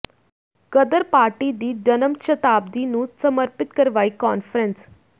ਗਦਰ party ਦੀ ਜਨਮ ਸ਼ਤਾਬਦੀ ਨੂੰ ਸਮਰਪਿਤ ਕਰਵਾਈ ਕਾਨਫਰੰਸ